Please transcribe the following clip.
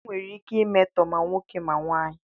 Enwere ike imetọ ma nwaanyị ma nwoke.